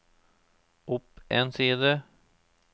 opp en side